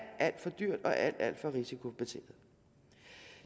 alt for dyrt og alt alt for risikobetinget